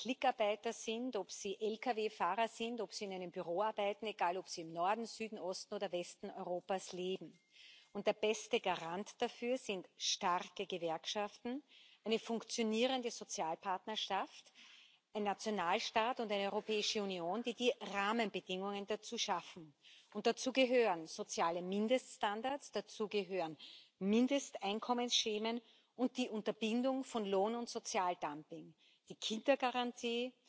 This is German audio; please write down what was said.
Egal, ob sie Klickarbeiter sind, ob sie Lkw Fahrer sind, ob sie in einem Büro arbeiten, ob sie im Norden, Süden, Osten oder Westen Europas leben. Der beste Garant dafür sind starke Gewerkschaften, eine funktionierende Sozialpartnerschaft, ein Nationalstaat und eine Europäischen Union, die die Rahmenbedingungen dazu schaffen. Und dazu gehören soziale Mindeststandards, dazu gehören Mindesteinkommensschemata und die Unterbindung von Lohn und Sozialdumping, die Kindergarantie,